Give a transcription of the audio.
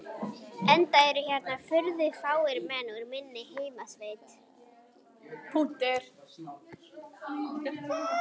Enda eru hérna furðu fáir menn úr minni heimasveit.